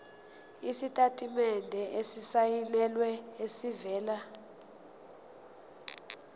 isitatimende esisayinelwe esivela